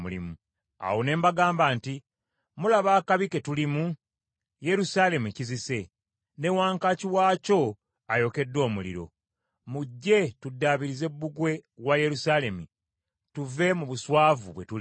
Awo ne mbagamba nti, “Mulaba akabi ke tulimu; Yerusaalemi kizise, ne wankaaki waakyo ayokeddwa omuliro. Mujje tuddaabirize bbugwe wa Yerusaalemi tuve mu buswavu bwe tulimu.”